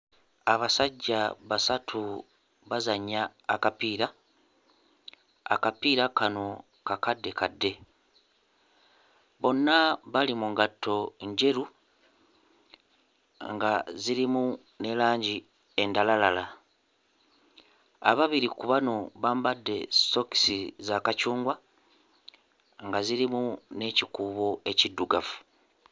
Abasajja basatu bazannya akapiira; akapiira kano kakaddekadde. Bonna bali mu ngatto njeru nga zirimu ne langi endalalala. Ababiri ku bano bambadde sookisi za kacungwa nga zirimu n'ekikuubo ekiddugavu.